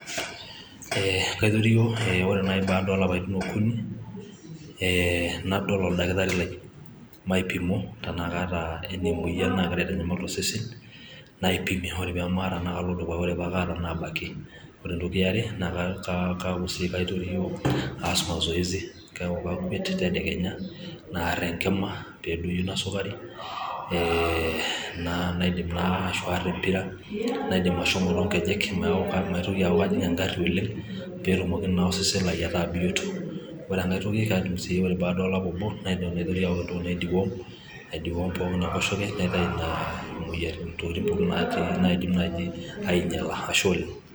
Ee kaitorio, ee ore naaji baada olapaitin okuni, ee nadol oldakitari Lai paipimo tenaa kaata emoyian naagira aitanyamal osesen naipimi ore pamaata naalaki ore entoki eare naaku sii kaitorio aas masoyesi ore paakwet tedekenya aar enkima pee edoyio Ina sukari ee naidima ashu aar empira naidim ashomo too ng'ejek neaku maitoki aaku kajing' egarri oleng' peetumoki naa osesen Lai ataa bioto, ore enkangae toki Kajo sii ore peaky baada olapa obo nanyok aing'oru naidiom , aidiwom kewan arashu aitayu nena tokitin pookin natii aijula tosesen.